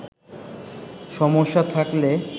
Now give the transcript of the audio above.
সমস্যা থাকলে